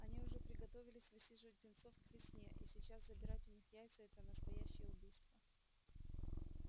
они уже приготовились высиживать птенцов к весне и сейчас забирать у них яйца это настоящее убийство